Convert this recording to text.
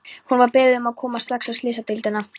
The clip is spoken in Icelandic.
Hún var beðin um að koma strax á slysadeildina.